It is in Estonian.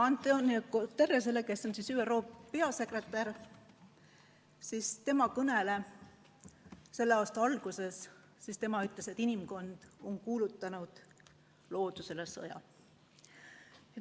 António Guterres, ÜRO peasekretär, aga ütles oma kõnes selle aasta alguses, et inimkond on kuulutanud loodusele sõja.